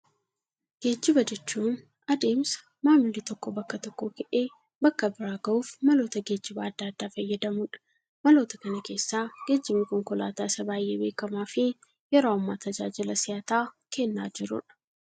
Geejiba jechuun adeemsa, maamilli tokko bakka tokkoo ka'ee, bakka biraa gahuuf maloota geejibaa addaa addaa fayyadamudha. Maloota kana keessaa, geejibni konkolaataa isa baayyee beekamaa fi yeroo ammaa tajaajila si'ataa kennaa jirudha.